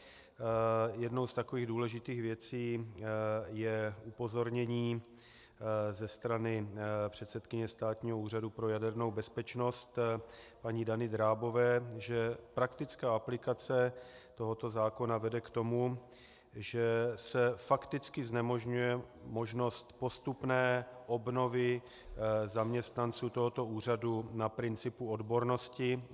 Jednou z takových důležitých věcí je upozornění ze strany předsedkyně Státního úřadu pro jadernou bezpečnost paní Dany Drábové, že praktická aplikace tohoto zákona vede k tomu, že se fakticky znemožňuje možnost postupné obnovy zaměstnanců tohoto úřadu na principu odbornosti.